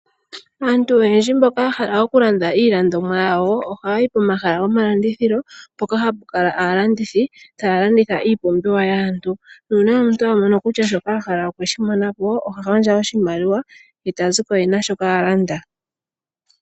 Aantu oyendji mboka yahala okulanda iipumbiwa yawo ohaya yi pomahala mpoka hapukala aalandithi ta ya landitha iipumbiwa nongele opena shoka apumbwa oha gandja oshimaliwa e ta pewa oshipumbiwa she